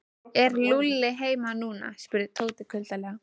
Er Lúlli heima núna? spurði Tóti kuldalega.